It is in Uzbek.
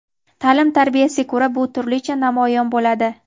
ta’lim-tarbiyasiga ko‘ra bu turlicha namoyon bo‘ladi.